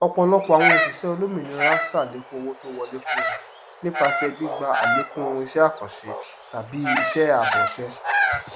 ọpọlọpọ àwon òṣìṣẹ olómìnira sàlékún owó tó ń wọlé fún wọn nípasẹ gbígba àlékún isẹ àkànṣe tàbí iṣẹ ààbọọṣẹ